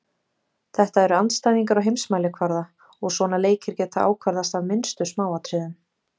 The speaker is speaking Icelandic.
Þetta eru andstæðingar á heimsmælikvarða og svona leikir geta ákvarðast af minnstu smáatriðum.